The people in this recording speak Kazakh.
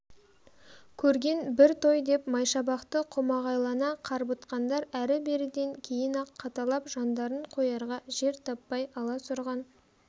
көрген бір той деп майшабақты қомағайлана қарбытқандар әрі-беріден кейін-ақ қаталап жандарын қоярға жер таппай аласұрған